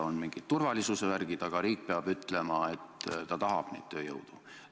On ka mingid turvalisuse tingimused, aga riik peab ütlema, et ta tahab seda tööjõudu.